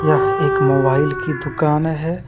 यह एक मोबाइल की दुकान है।